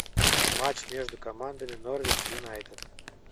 матч между командами норвич юнайтед